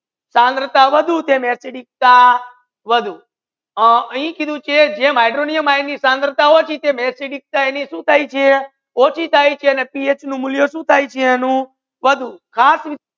સાંદ્રતા વધુ છે ને એસિડિકતા વધુ આ અહી કીધુ છે કે હાઇડ્રોનિયમ આયન ની સાંદ્રતા ઓચી છે ને એસિડિકતા સુ થાય છે ઓચી થાય છે અને પીએચ નુ મુલ્યા સુ થાય છે અનુ વધુ